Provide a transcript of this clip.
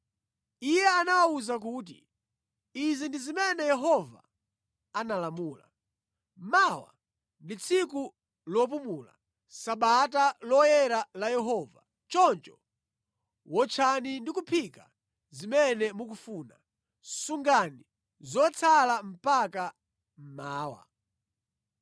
Iye anawawuza kuti, “Izi ndi zimene Yehova analamula, ‘Mawa ndi tsiku lopumula, Sabata Loyera la Yehova, choncho wotchani ndi kuphika zimene mukufuna. Sungani zotsala mpaka mmawa.’ ”